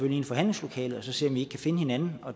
ind i forhandlingslokalet og ser om vi ikke kan finde hinanden